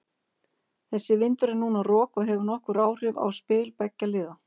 Þessi vindur er núna rok og hefur nokkur áhrif á spil beggja liða.